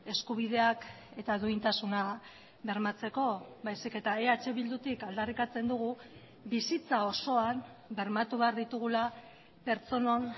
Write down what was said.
eskubideak eta duintasuna bermatzeko baizik eta eh bildutik aldarrikatzen dugu bizitza osoan bermatu behar ditugula pertsonon